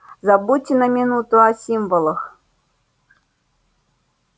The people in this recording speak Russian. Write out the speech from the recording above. забудьте на минуту о символах